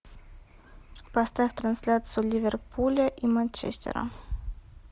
поставь трансляцию ливерпуля и манчестера